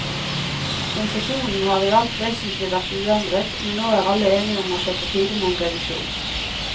Konsesjonen har i alt vesentlig vært uendret, men nå er alle enige om at det er på tide med en revisjon.